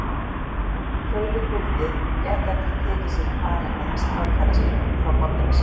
Þótt hann feginn vildi gæti hann ekki tekið sér fari með strandferðaskipinu frá Borgarnesi.